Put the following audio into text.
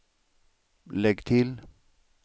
lägg till